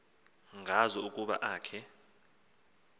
ngazo ukuba akhe